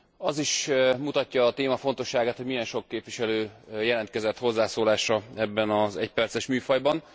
Az is mutatja a téma fontosságát, hogy milyen sok képviselő jelentkezett hozzászólásra ebben az egyperces műfajban.